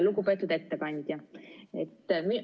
Lugupeetud ettekandja!